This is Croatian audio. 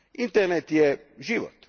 Internet je život.